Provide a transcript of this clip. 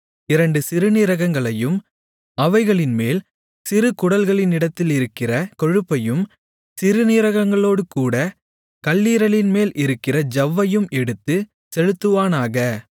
இரண்டு சிறுநீரகங்களையும் அவைகளின்மேல் சிறுகுடல்களினிடத்திலிருக்கிற கொழுப்பையும் சிறுநீரகங்களோடேகூடக் கல்லீரலின்மேல் இருக்கிற ஜவ்வையும் எடுத்துச் செலுத்துவானாக